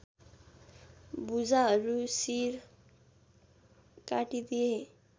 भुजाहरू सिर काटिदिए